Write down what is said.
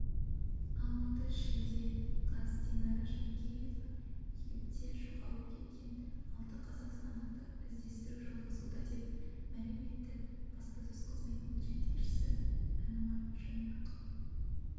алматы шілде қаз динара жаркеева египтте жоғалып кеткен алты қазақстандықты іздестіру жалғасуда деп мәлім етті баспасөз қызметінің жетекшісі әнуар жайнақов